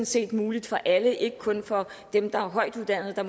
set muligt for alle ikke kun for dem der er højtuddannede og